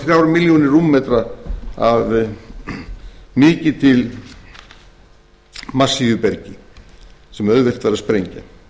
þrjár milljónir rúmmetrar af mikið til massífu bergi sem auðvelt væri að sprengja